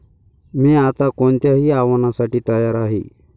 मी आता कोणत्याही आव्हानासाठी तयार आहे.